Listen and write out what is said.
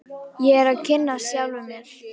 Ég er að kynnast sjálfum mér.